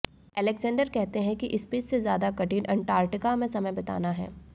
Alexander कहते हैं कि स्पेस से ज्यादा कठिन अंटार्कटिका में समय बिताना है